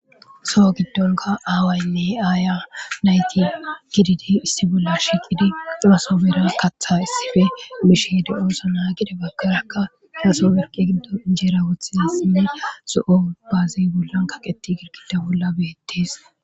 soho giddonka aawaynne aaya nayti gididi issi bolla shiqidi rooso bera katha issife bishehede ooso naagide bagkerakka gesoberqi giddo ijeera wothiasinne so7o baaziy bollan kaqeti girkida bolla beettees